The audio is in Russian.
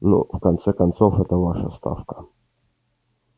ну в конце концов эта ваша ставка